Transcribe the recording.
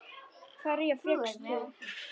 Hverja fékkst þú?